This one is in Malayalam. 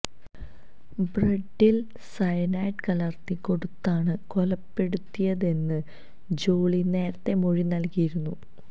ബ്രെഡിൽ സയനൈഡ് കലർത്തി കൊടുത്താണ് കൊലപ്പെടുത്തിയതെന്ന് ജോളി നേരത്തെ മൊഴി നൽകിയിരുന്നു